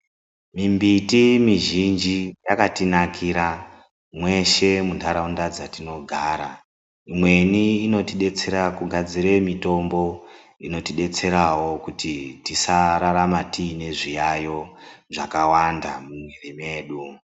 Mimbiti mizhinji yakatinakira mweshe muntaraunda dzetinogara Imweni inotidetsera kugadzira mitombo inotidetserawo kuti tisararama tine zviyaiyo zvakawanda mumwiri mwedu.